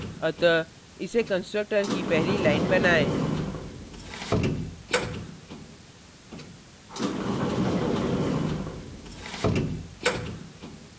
अतः इसे constructor की पहली line बनाएँ